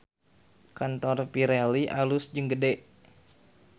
Kantor Pirelli alus jeung gede